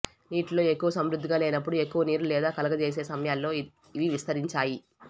నీటిలో ఎక్కువ సమృద్ధిగా లేనప్పుడు ఎక్కువ నీరు లేదా కలుగజేసే సమయాల్లో ఇవి విస్తరించాయి